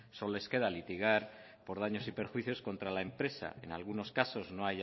solo les queda litigar por daños y perjuicios contra la empresa en algunos casos no